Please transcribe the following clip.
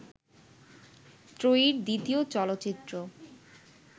ত্রয়ীর দ্বিতীয় চলচ্চিত্র